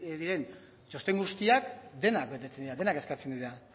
duen txosten guztiak denak betetzen dira denak eskatzen dira